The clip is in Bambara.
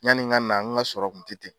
Yani n ka na, n ka sɔrɔ kun tɛ ten.